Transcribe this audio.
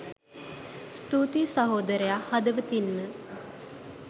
ස්තුතීයි සහෝදරයා හදවතින්ම.